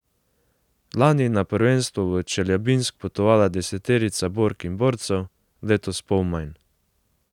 Lani je na prvenstvo v Čeljabinsk potovala deseterica bork in borcev, letos pol manj.